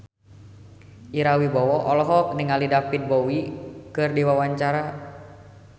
Ira Wibowo olohok ningali David Bowie keur diwawancara